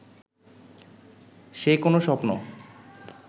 সে কোনো স্বপ্ন